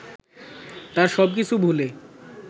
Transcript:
তার সব কিছু ভুলে